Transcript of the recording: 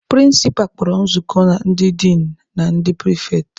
Prịnsịpa kpọrọ nzukọ ndị din na na ndị pịrịfetị.